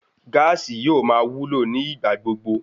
Gáàsì yóò máa wúlò ní ìgbà gbogbo